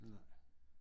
Nej